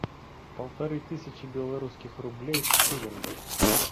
полторы тысячи белорусских рублей в шиллингах